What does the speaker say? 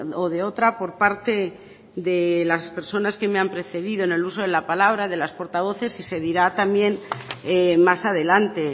o de otra por parte de las personas que me han precedido en el uso de la palabra de las portavoces y se dirá también más adelante